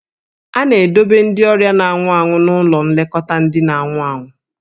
A na-edobe ndị ọrịa na-anwụ anwụ n'ụlọ nlekọta ndị na-anwụ anwụ.